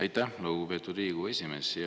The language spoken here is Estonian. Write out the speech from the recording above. Aitäh, lugupeetud Riigikogu esimees!